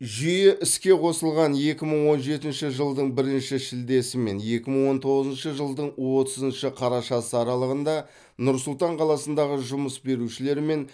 жүйе іске қосылған екі мың он жетінші жылдың бірінші шілдесі мен екі мың он тоғызыншы жылдың отызыншы қарашасы аралығында нұр сұлтан қаласындағы жұмыс берушілермен